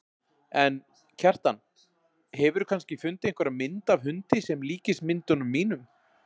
En, Kjartan, hefurðu kannski fundið einhverja mynd af hundi sem líkist myndunum mínum?